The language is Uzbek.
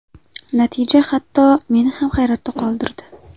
Natija hatto meni ham hayratda qoldirdi.